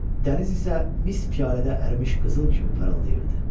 Dəniz isə mis piyalədə ərimiş qızıl kimi parıldayırdı.